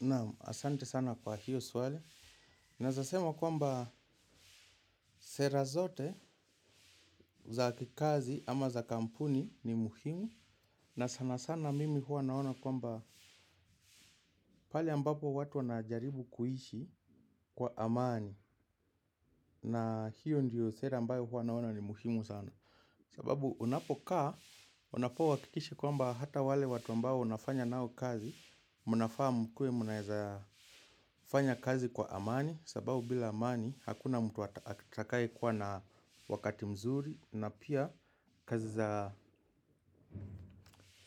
Naam, asante sana kwa hiyo swali. Naweza sema kwamba sera zote za kikazi ama za kampuni ni muhimu. Na sana sana mimi huwa naona kwamba pale ambapo watu wana jaribu kuishi kwa amani. Na hiyo ndiyo sera ambayo huwa naona ni muhimu sana. Sababu unapokaa, unafauhakikishe kwamba hata wale watu ambao unafanya nao kazi, mnafaa mkue mnaweza fanya kazi kwa amani. Sababu bila amani hakuna mtu atakaye kuwa na wakati mzuri. Na pia kazi za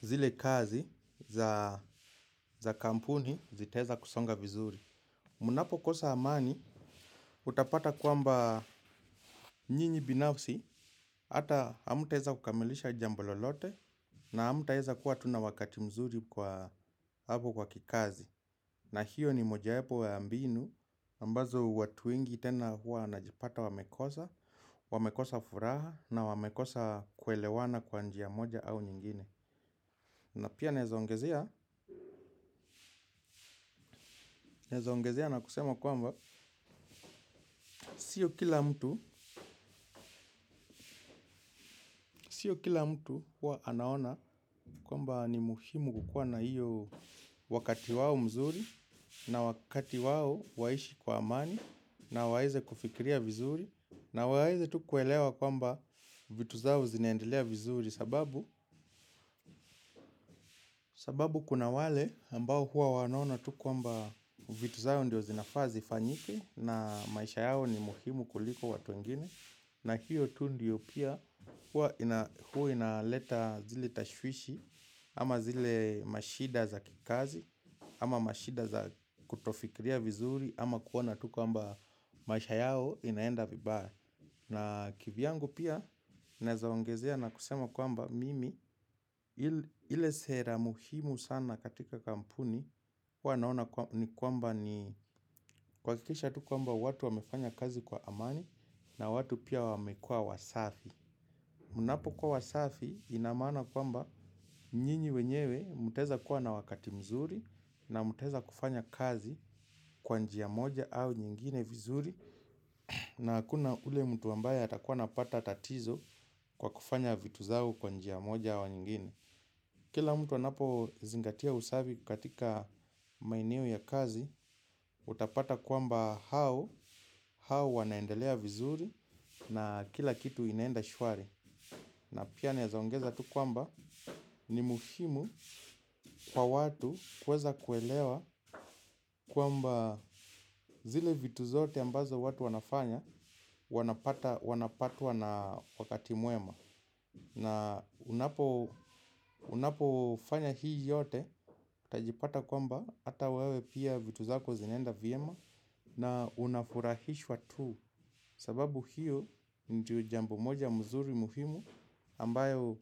zile kazi za kampuni zitaweza kusonga vizuri. Munapo kosa amani utapata kwamba nyinyi binafsi hata hamtaweza kukamilisha jambo lolote. Na hamtaweza kuwa tu na wakati mzuri kwa hapo kwa kikazi. Na hiyo ni moja wapo wa mbinu, ambazo watu wengi tena huwa wanajipata wamekosa, wamekosa furaha na wamekosa kuelewana kwa njia moja au nyingine. Na pia naweza ongezea, naweza ongezea na kusema kwamba, sio kila mtu, sio kila mtu huwa anaona kwamba ni muhimu kukuwa na hiyo wakati wao mzuri na wakati wao waishi kwa amani na waweze kufikiria vizuri na wawezi tu kuelewa kwamba vitu zao zinaendelea vizuri sababu sababu kuna wale ambao huwa wanaona tu kwamba vitu zao ndio zinafaa zifanyike. Na maisha yao ni muhimu kuliko watu wengine. Na hiyo tu ndio pia huwa inaleta zile tashwishi. Ama zile mashida za kikazi. Ama mashida za kutofikiria vizuri. Ama kuona tu kwamba maisha yao inaenda vibaya. Na kivyangu pia naweza waongezea na kusema kwamba mimi ile sera muhimu sana katika kampuni huwa naona kwamba ni kuhakisha tu kwamba watu wamefanya kazi kwa amani na watu pia wamekua wasafi. Mnapo kwa wasafi inamaana kwamba nyinyi wenyewe mtaweza kuwa na wakati mzuri na mutaweza kufanya kazi kwa njia moja au nyingine vizuri na hakuna ule mtu ambaye atakuwa anapata tatizo kwa kufanya vitu zao kwa njia moja au nyingine. Kila mtu anapo zingatia usafi katika maeneo ya kazi, utapata kwamba hao, hao wanaendelea vizuri na kila kitu inaenda shwari. Na pia naweza ongeza tu kwamba ni muhimu kwa watu kuweza kuelewa kwamba zile vitu zote ambazo watu wanafanya wanapatwa na wakati mwema. Na unapo fanya hii yote, utajipata kwamba hata wewe pia vitu zako zinaenda vyema na unafurahishwa tu. Sababu hiyo ju jambo moja mzuri muhimu ambayo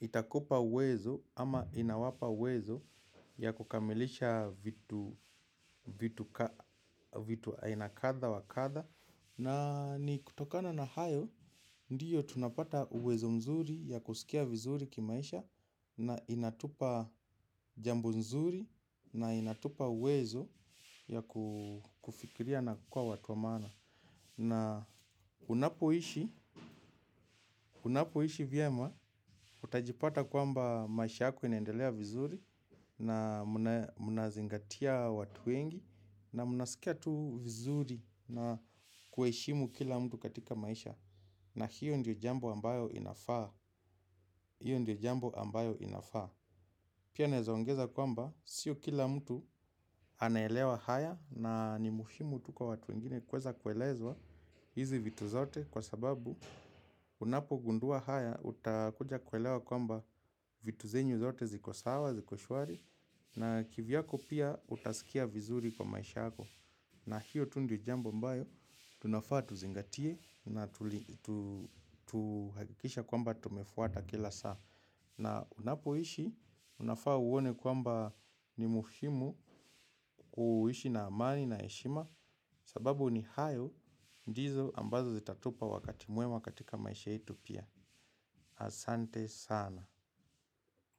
itakupa uwezo ama inawapa uwezo ya kukamilisha vitu aina kadha wa kadha. Na ni kutokana na hayo, ndiyo tunapata uwezo mzuri ya kusikia vizuri kimaisha na inatupa jambo nzuri na inatupa uwezo ya kufikiria na kukua watu wa maana. Na unapoishi, unapoishi vyema, utajipata kwamba maisha yako inendelea vizuri na mnazingatia watu wengi na mnasikia tu vizuri na kuheshimu kila mtu katika maisha. Na hiyo ndio jambo ambayo inafaa. Hiyo ndio jambo ambayo inafaa. Pia naweza ongeza kwamba sio kila mtu anaelewa haya na ni muhimu tuko watu wengine kuweza kuelezwa hizi vitu zote kwa sababu unapo gundua haya utakuja kuelewa kwamba vitu zenyu zote ziko sawa ziko swari na kivyako pia utasikia vizuri kwa maisha yako. Na hiyo tu ndiyo jambo ambayo, tunafaa tuzingatie na tuhakikisha kwamba tumefuata kila saa. Na unapoishi, unafaa uone kwamba ni muhimu kuishi na amani na heshima sababu ni hayo ndizo ambazo zitatupa wakati mwema katika maisha yetu pia. Asante sana.